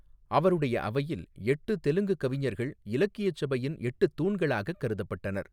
அவருடைய அவையில், எட்டு தெலுங்குக் கவிஞர்கள் இலக்கியச் சபையின் எட்டுத் தூண்களாகக் கருதப்பட்டனர்.